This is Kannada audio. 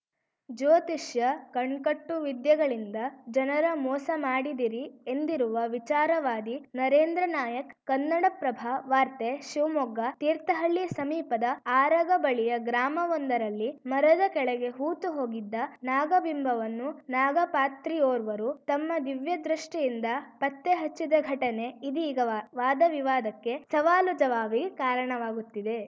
ಜ್ಯೋತಿಷ್ಯ ಕಣ್ಕಟ್ಟು ವಿದ್ಯೆಗಳಿಂದ ಜನರ ಮೋಸ ಮಾಡಿದಿರಿ ಎಂದಿರುವ ವಿಚಾರವಾದಿ ನರೇಂದ್ರ ನಾಯಕ್‌ ಕನ್ನಡಪ್ರಭ ವಾರ್ತೆ ಶಿವಮೊಗ್ಗ ತೀರ್ಥಹಳ್ಳಿ ಸಮೀಪದ ಆರಗ ಬಳಿಯ ಗ್ರಾಮವೊಂದರಲ್ಲಿ ಮರದ ಕೆಳಗೆ ಹೂತುಹೋಗಿದ್ದ ನಾಗಬಿಂಬವನ್ನು ನಾಗಪಾತ್ರಿಯೋರ್ವರು ತಮ್ಮ ದಿವ್ಯದೃಷ್ಟಿಯಿಂದ ಪತ್ತೆ ಹಚ್ಚಿದ ಘಟನೆ ಇದೀಗ ವಾ ವಾದ ವಿವಾದಕ್ಕೆ ಸವಾಲುಜವಾಬಿಗೆ ಕಾರಣವಾಗುತ್ತಿದೆ